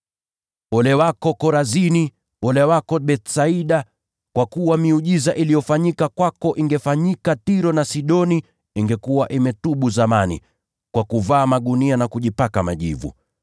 “Ole wako Korazini! Ole wako Bethsaida! Kwa kuwa kama miujiza iliyofanyika kwenu ingefanyika Tiro na Sidoni, miji hiyo ingekuwa imetubu zamani, kwa kuvaa magunia na kujipaka majivu.